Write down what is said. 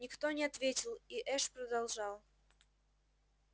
никто не ответил и эш продолжал